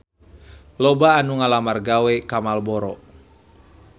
Loba anu ngalamar gawe ka Marlboro